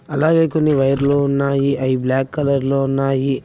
అలాగే కొన్ని వైర్లు ఉన్నాయి అవి బ్లాక్ కలర్ లో ఉన్నాయి.